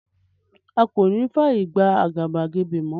A ko ní fàyè gba àgàbàgebè mo